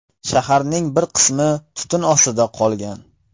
Shaharning bir qismi tutun ostida qolgan.